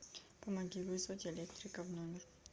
помоги вызвать электрика в номер